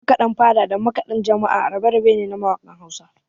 Makaɗan fada da makaɗan jama'a rabe-rabe ne na mawakan Hausa